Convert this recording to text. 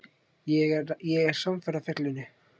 Ég er samferða fjallinu